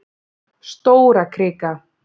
Stórakrika